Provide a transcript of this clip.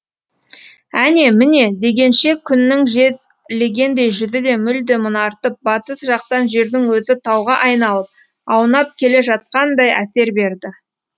әне міне дегенше күннің жез легендей жүзі де мүлде мұнартып батыс жақтан жердің өзі тауға айналып аунап келе жатқандай әсер берді